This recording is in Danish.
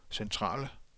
centrale